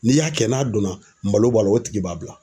N'i y'a kɛ n'a dɔnna malo b'a la o tigi b'a bila.